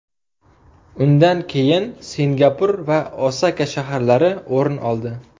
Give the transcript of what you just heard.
Undan keyin Singapur va Osaka shaharlari o‘rin oldi.